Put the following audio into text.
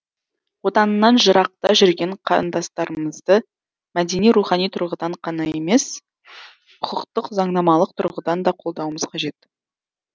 отанынан жырақта жүрген қандастарымызды мәдени рухани тұрғыдан ғана емес құқықтық заңнамалық тұрғыдан да қолдауымыз қажет